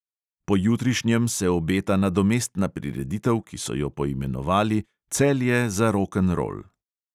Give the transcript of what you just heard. Pojutrišnjem se obeta nadomestna prireditev, ki so jo poimenovali celje za rokenrol.